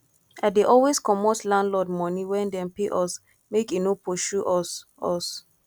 i dey always comot landlord moni wen dem pay us make e no pursue us us